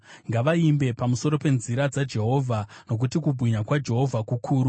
Ngavaimbe pamusoro penzira dzaJehovha, nokuti kubwinya kwaJehovha kukuru.